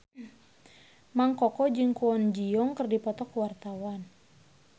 Mang Koko jeung Kwon Ji Yong keur dipoto ku wartawan